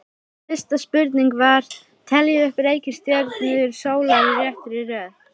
Fyrsta spurning var: Teljið upp reikistjörnur sólar í réttri röð.